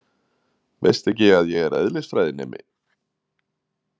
Veistu ekki að ég er eðlisfræðinemi?